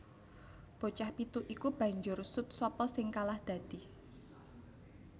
Bocah pitu iku banjur sut sapa sing kalah dadi